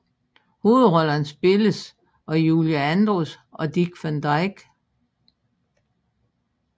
Hovedrollerne spilles af Julie Andrews og Dick Van Dyke